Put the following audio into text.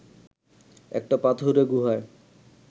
একটা পাথুরে গুহায়